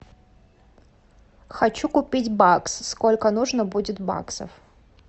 хочу купить бакс сколько нужно будет баксов